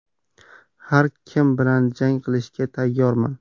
Har kim bilan jang qilishga tayyorman.